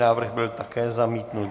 Návrh byl také zamítnut.